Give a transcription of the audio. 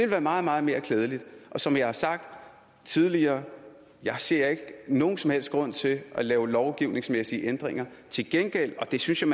være meget meget mere klædeligt og som jeg har sagt tidligere jeg ser ikke nogen som helst grund til at lave lovgivningsmæssige ændringer til gengæld og det synes jeg